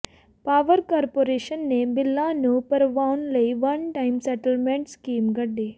power corporation ਨੇ ਬਿੱਲਾਂ ਨੂੰ ਭਰਵਾਉਣ ਲਈ ਵਨ ਟਾਇਮ ਸੈਟਲਮੈਂਟ ਸਕੀਮ ਕੱਢੀ